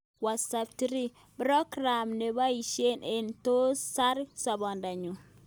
What3words: program ne kiboishe ne tos sar sabeetngung